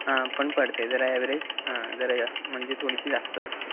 पण पडते जरा अँवरेज, हम्म जरा जास्त म्हणजे थोडीशी जास्त वाटते.